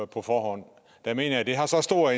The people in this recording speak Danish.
på forhånd jeg mener at det har så stor